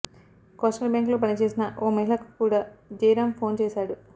coastal బ్యాంకులో పనిచేసిన ఓ మహిళకు కూడ జయరామ్ ఫోన్ చేశాడు